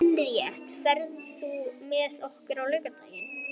Henríetta, ferð þú með okkur á laugardaginn?